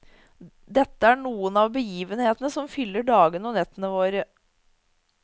Dette er noen av begivenhetene som fyller dagene og nettene våre.